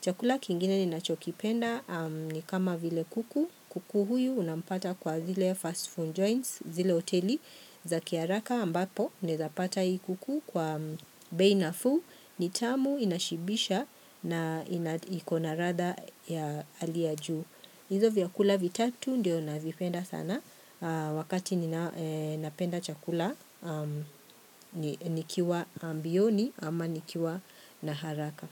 Chakula kingine ninachokipenda ni kama vile kuku, kuku huyu unapata kwa zile fast food joints, zile hoteli, za kiharaka ambapo, naezapata hii kuku kwa bei nafuu, nitamu inashibisha na ikona ladha ya hali ya juu. Izo vyakula vitatu ndio navipenda sana, wakati ninapenda chakula nikiwa ambioni ama nikiwa na haraka.